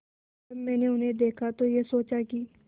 जब मैंने उन्हें देखा तो ये सोचा कि